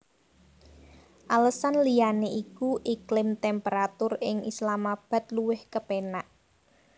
Alesan liyané iku iklim temperatur ing Islamabad luwih kepénak